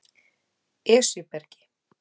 Esjubergi